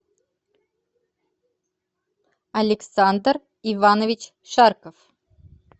александр иванович шарков